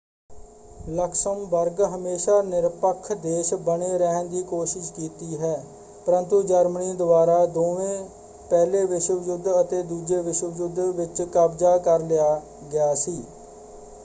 Luxembourg ਹਮੇਸ਼ਾਂ ਨਿਰਪੱਖ ਦੇਸ਼ ਬਣੇ ਰਹਿਣ ਦੀ ਕੋਸ਼ਿਸ਼ ਕੀਤੀ ਹੈ ਪਰੰਤੂ ਜਰਮਨੀ ਦੁਆਰਾ ਦੋਵੇ ਪਹਿਲੇ ਵਿਸ਼ਵ ਯੁੱਧ ਅਤੇ ਦੂਜੇ ਵਿਸ਼ਵ ਯੁੱਧ ਵਿੱਚ ਕਬਜ਼ਾ ਕਰ ਲਿਆ ਗਿਆ ਸੀ।